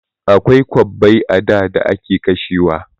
Akwai kwabbai a da da ake kashewa.